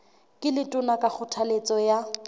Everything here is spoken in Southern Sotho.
ke letona ka kgothaletso ya